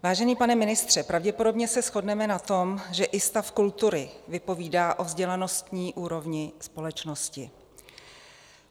Vážený pane ministře, pravděpodobně se shodneme na tom, že i stav kultury vypovídá o vzdělanostní úrovni společnosti.